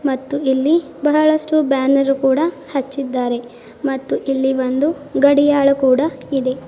ಮತ್ತು ಇಲ್ಲಿ ಬಹಳಷ್ಟು ಬ್ಯಾನರ್ ಕೂಡ ಹಚ್ಚಿದ್ದಾರೆ ಮತ್ತು ಇಲ್ಲಿ ಒಂದು ಗಡಿಯಾಳು ಕೂಡ ಇದೆ.